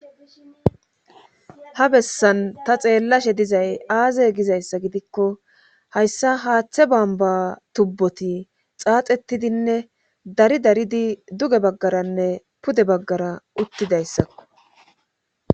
ha bessan ta xeellashe dizay aaze gizayssa gidikko hayssa haaththe bamba tubboti xaaxettidinne dari daridi duge baggaranne pude baggara uttidayssakko